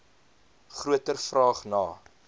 groter vraag na